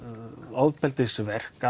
ofbeldisverk